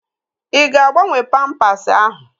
Ị ga-agbanwe pampasi ahụ?